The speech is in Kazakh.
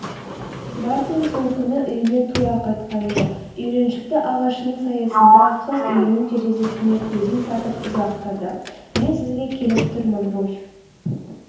мартин сол күні үйіне тура қайтқан жоқ үйреншікті ағашының саясында қыз үйінің терезесіне көзін сатып ұзақ тұрды.мен сізге келіп тұрмын руфь